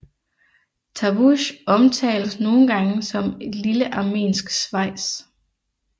Tavush omtales nogle gange som et lille armensk Schweiz